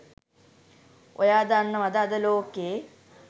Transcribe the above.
ඔයා දන්නවද අද ලෝකෙ